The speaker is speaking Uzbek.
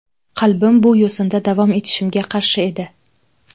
Qalbim bu yo‘sinda davom etishimga qarshi edi.